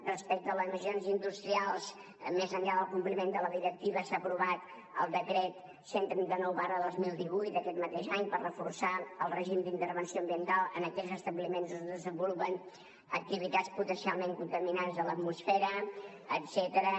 respecte a les emissions industrials més enllà del compliment de la directiva s’ha aprovat el decret cent i trenta nou dos mil divuit aquest mateix any per reforçar el règim d’intervenció ambiental en aquells establiments on es desenvolupen activitats potencialment contaminants de l’atmosfera etcètera